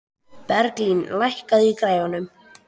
Berglín, lækkaðu í græjunum.